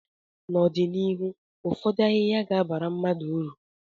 n'ọdịnihu ụfọdụ ahịhịa ga-abara mmadụ uru